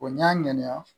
n'i y'a ŋɛniya